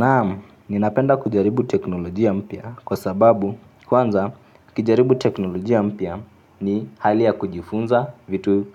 Naam, ninapenda kujaribu teknolojia mpya kwa sababu kwanza ukijaribu teknolojia mpya ni hali ya kujifunza vitu